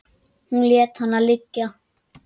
Hún lét hana liggja.